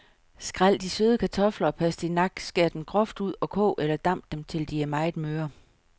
Skræl de søde kartofler og pastinak, skær dem groft ud og kog eller damp dem, til de er meget møre.